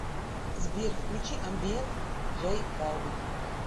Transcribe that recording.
сбер включи амбиент джей балвин